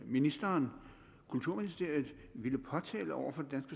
ministeren kulturministeriet ville påtale over for det